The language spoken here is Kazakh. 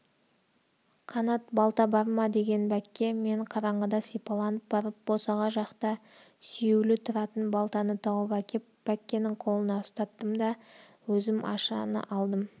қанат балта бар ма деген бәкке мен қараңғыда сипаланып барып босаға жақта сүйеулі тұратын балтаны тауып әкеп бәккенің қолына ұстаттым да өзім ашаны алдым